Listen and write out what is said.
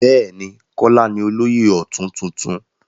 Bẹ́ẹ̀ ni, Kọ́lá ní olóyè ọ̀tún tuntun.